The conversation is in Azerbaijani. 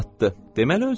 Deməli özü istəyir.